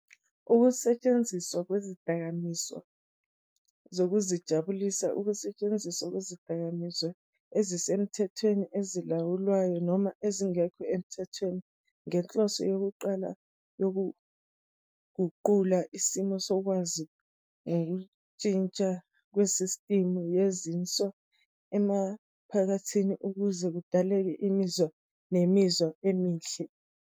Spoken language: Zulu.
Ukusetshenziswa kwezidakamizwa zokuzijabulisa ukusetshenziswa kwesidakamizwa, esisemthethweni, esilawulwayo, noma esingekho emthethweni, ngenhloso yokuqala yokuguqula isimo sokwazi ngokushintsha kwesistimu yezinzwa emaphakathi ukuze kudaleke imizwa nemizwa emihle.